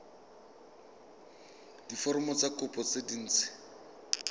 diforomo tsa kopo tse dint